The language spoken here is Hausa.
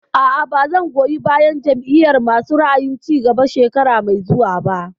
A'a, ba zan goyi bayan Jam'iyar masu ra'ayin cigaba shekara mai zuwa ba